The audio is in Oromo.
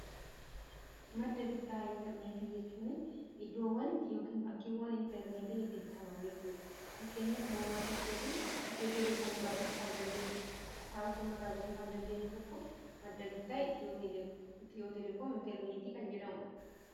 Madda bittaa interneetii jechuun iddoowwan itti yookiin bakkiiwwan interneetiin itti bitaman jechuura fakkeenyaf mobaala keetiin itiyoo teleekoom rraa bituu kan dandeessu safaar kumirraa bituu kan dandeenyu tokko madda bittaa itiyoo teleekoom interneetii kan jedhamudha.